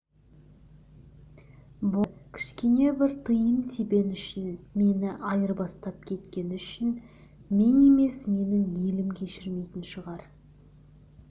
болды кішкене бір тиын-тебен үшін мені айырбастап кеткені үшін мен емес менің елім кешірмейтін шығар